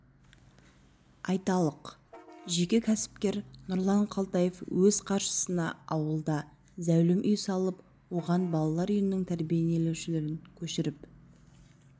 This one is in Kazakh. айталық жеке кәсіпкер нұрлан қалтаев өз қаржысына ауылда зәулім үй салып оған балалар үйінің тәрбиеленушілерін көшіріп